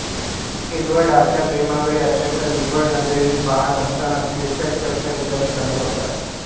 Edward आपल्या प्रेमाकडे अत्यंत विव्हळ नजरेने पहात असतानाच प्रेक्षक प्रश्ण विचारणे चालू करतात